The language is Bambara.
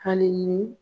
Hali ni